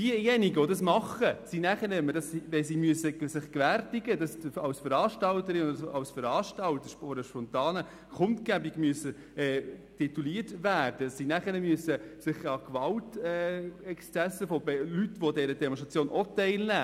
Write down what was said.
Diejenigen, die das tun, sind in der Ausübung ihres Grundrechts gehemmt, wenn sie als Veranstalter einer nicht bewilligten Kundgebung gelten, an der auch gewalttätige Leute teilnehmen.